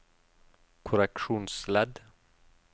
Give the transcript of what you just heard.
korreksjonsledd